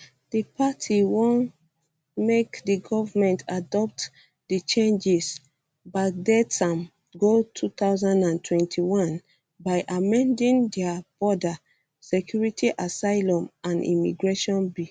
di party want make di government adopt adopt di changes backdate am go 2021 by amending dia border security asylum and immigration bill